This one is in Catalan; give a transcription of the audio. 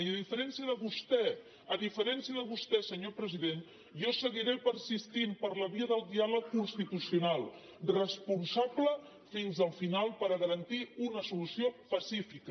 i a diferència de vostè a diferència de vostè senyor president jo seguiré persistint per la via del diàleg constitucional responsable fins al final per garantir una solució pacífica